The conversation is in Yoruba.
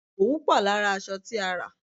Òwú pò lára aṣọ tí a rà.